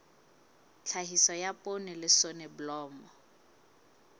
tlhahiso ya poone le soneblomo